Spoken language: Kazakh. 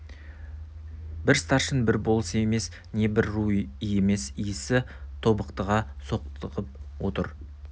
бір старшын бір болыс емес не бір ру емес исі тобықтыға соқтығып отыр